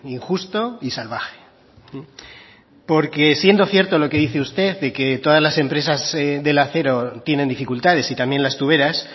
injusto y salvaje porque siendo cierto lo que dice usted de que todas las empresas del acero tienen dificultades y también las tuberas